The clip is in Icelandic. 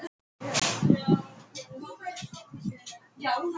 Þau föðmuðust á meðan þau biðu.